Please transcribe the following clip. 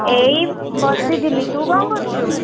ଏଇ ବସିଥିଲି। ତୁ କଣ କରୁଛୁ?